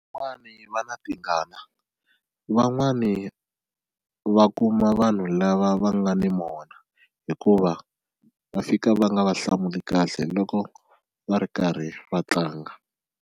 Van'wani va na tingana van'wani va kuma vanhu lava va nga ni mona hikuva va fika va nga va hlamuli kahle loko va ri karhi va tlanga.